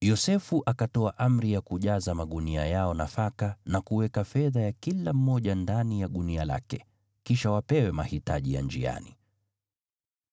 Yosefu akatoa amri ya kujaza magunia yao nafaka na kuweka fedha ya kila mmoja ndani ya gunia lake, kisha wapewe mahitaji ya njiani.